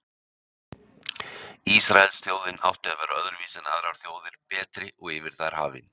Ísraelsþjóðin átti að vera öðruvísi en aðrar þjóðir, betri og yfir þær hafin.